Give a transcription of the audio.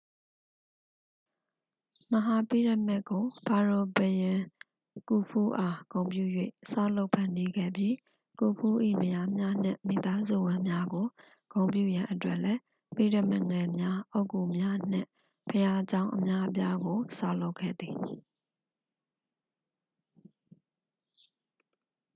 မဟာပိရမစ်ကို ဖာရိုဘုရင် ကူဖူးအား ဂုဏ်ပြု၍ ဆောက်လုပ်ဖန်တီးခဲ့ပြီး ကူဖူး၏ မယားများနှင့် မိသားစုဝင်များကို ဂုဏ်ပြုရန်အတွက်လည်း ပိရမစ်ငယ်များ အုတ်ဂုများနှင့် ဘုရားကျောင်း အများအပြားကို ဆောက်လုပ်ခဲ့သည်